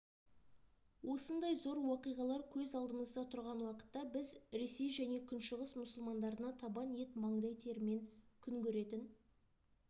осындай зор уақиғалар көз алдымызда тұрған уақытта біз ресей және күншығыс мұсылмандарына табан ет маңдай терімен күн көретін